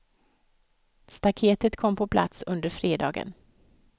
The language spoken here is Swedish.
Staketet kom på plats under fredagen.